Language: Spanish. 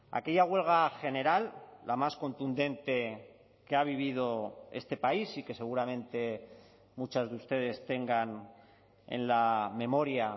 aquella huelga general la más contundente que ha vivido este país y que seguramente muchas de ustedes tengan en la memoria